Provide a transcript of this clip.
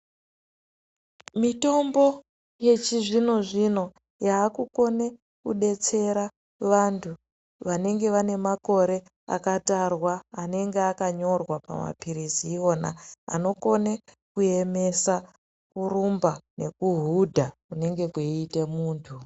Mitombo yechi zvino zvino yaku kone kudetsera vantu vanenge vane makore aka tarwa anenge aka nyorwa pa mapirisi iwona anokone ku emesa kuramba neku hudha kunenge kwei ite muntu.